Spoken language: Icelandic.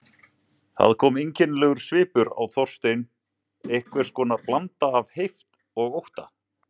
Það kom einkennilegur svipur á Þorstein, einhvers konar blanda af heift og ótta.